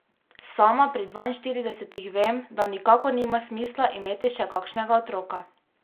Sama pri dvainštiridesetih vem, da nikakor nima smisla imeti še kakšnega otroka.